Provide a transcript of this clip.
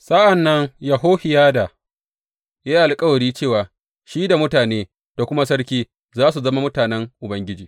Sa’an nan Yehohiyada ya yi alkawari cewa shi da mutane da kuma sarki za su zama mutanen Ubangiji.